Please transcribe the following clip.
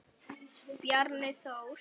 Elsku Bjarni Þór.